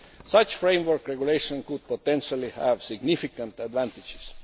Such a framework regulation could potentially have significant advantages.